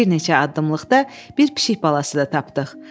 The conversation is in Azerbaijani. Bir neçə addımlıqda bir pişik balası da tapdıq.